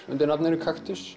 undir nafninu